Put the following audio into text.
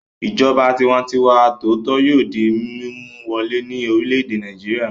Ìjọba tiwantiwa tòótọ́ yóò di mímú wọlé ní orílẹ̀-èdè Nàìjíríà.